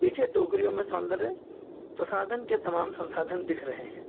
पीछे टोकरियों में सौंदर्य प्रसाधन के तमाम संसाधन दिख रहे हैं।